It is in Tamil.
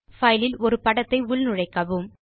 பைல் இல் ஒரு படத்தை உள்நுழைக்கவும்